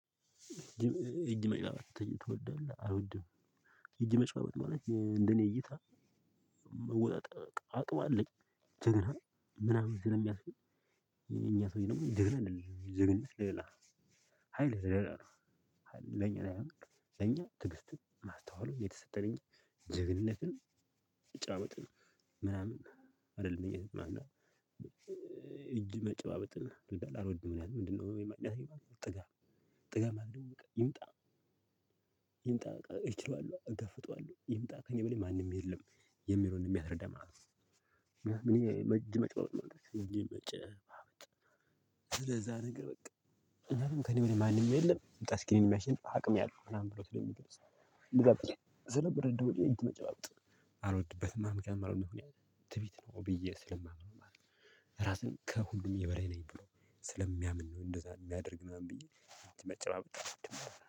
እጅ መጨረሻ ትወዳለህ አልወድም። እጅ መጨረሻ በት ማለት እንደኔ እይታ። መወጣጠቅ አቅም አለኝ። ጀግና ምናምን ስለሚያፍን። የኛ ሰወይ ደግሞ ጀግና አይደለም ጀግና ሌላ። ሀይል ዘለላ ነው። ለኛ ለኛ ለኛ ትግስት ማስተዋሉ የተሰጠኝ እኛ ጀግንነትን ጫወትን ምናምን። አይደለም እኔ ማንኛውም እጅ መጨባበጥና አልወድም። ምንድነው? የማግኘቴ ጥጋብ ጥጋብ ማለት ይምጣ። ይምጣ ይችላሉ እገፍጠዋለሁ ይምጣ ከእኔ በላይ ማንም እየለም የሚለውን ነው የሚያስረዳ ማለት። ነው እኔ መጅ መጨባበጥ መጨባበጥ። ስለዛ ነገር በቃ። እኛም ከእኔ በላይ ማንም የለም ይምጣ እስኪ እኔን የሚያሽንፍ አቅም ያለው ምናምን ብሎ ስለሚገልጽ። ስለምር ስለምረድ ወዲያ የት መጨባጨብ አልወድበትም አምገር አልወድበትም። ትዕቢት ነው ብዬ ስለማምነው። ከሁሉም የበላይ ነኝ ብሎ ስለሚያምን ነው እንደዛ የሚያደርግ ምናምን ብዬ። መጨባበጥ